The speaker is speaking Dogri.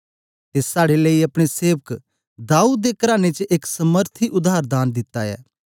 ते साड़े लेई अपने सेवक दाऊद दे कराने च एक समर्थी उद्धार दान दित्ता ऐ